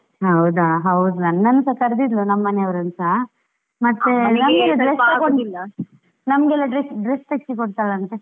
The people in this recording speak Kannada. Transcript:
ಹೌದಾ, ಹೌದು ನನನ್ನುಸ ಕರ್ದಿದ್ಲು ನಮ್ಮ ಮನೆಯವರನ್ನುಸ ಮತ್ತೆ ನಮ್ಗೆಲ್ಲಾ dress, dress ತೆಗಿಸಿಕೊಡ್ತಾಳೆ ಅಂತೇ.